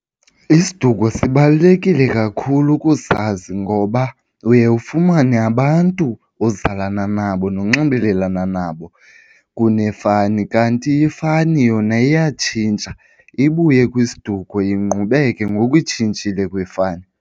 Isiduko sibalulekile kakhulu ukuzazi ngoba uye ufumane abantu ozalana nabo nonxibelelana nabo kunefani. Kanti ifani yona iyatshintsha, ibuye kwisiduko ingqubeke ngoku itshintshile kwifani.